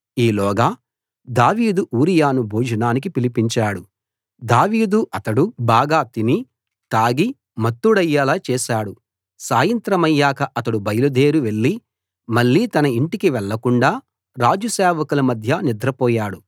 ఈలోగా దావీదు ఊరియాను భోజనానికి పిలిపించాడు దావీదు అతడు బాగా తిని తాగి మత్తుడయ్యేలా చేశాడు సాయంత్రమయ్యాక అతడు బయలుదేరి వెళ్లి మళ్ళీ తన ఇంటికి వెళ్ళకుండా రాజు సేవకుల మధ్య నిద్రపోయాడు